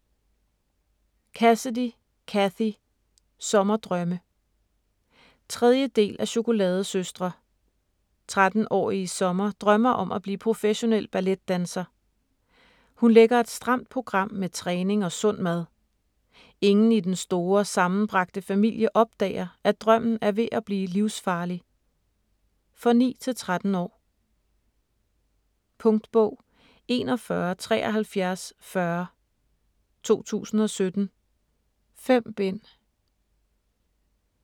Cassidy, Cathy: Sommerdrømme 3. del af Chokoladesøstre. 13-årige Summer drømmer om at blive professionel balletdanser. Hun lægger et stramt program med træning og sund mad. Ingen i den store sammenbragte familie opdager, at drømmen er ved at blive livsfarlig. For 9-13 år. Punktbog 417340 2017. 5 bind.